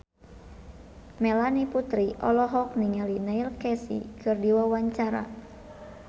Melanie Putri olohok ningali Neil Casey keur diwawancara